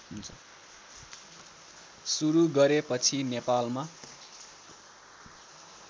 सुरू गरेपछि नेपालमा